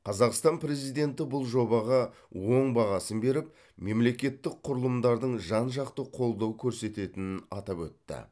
қазақстан президенті бұл жобаға оң бағасын беріп мемлекеттік құрылымдардың жан жақты қолдау көрсететінін атап өтті